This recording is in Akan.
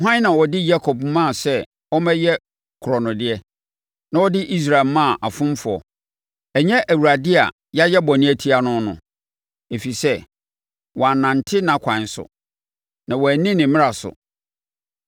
Hwan na ɔde Yakob maa sɛ ɔmmɛyɛ korɔnodeɛ, na ɔde Israel maa afomfoɔ? Ɛnyɛ Awurade a yɛayɛ bɔne atia no no? Ɛfiri sɛ wɔannante nʼakwan so; na wɔanni ne mmara so.